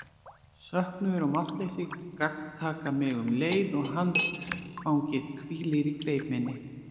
Söknuður og máttleysi gagntaka mig um leið og handfangið hvílir í greip minni.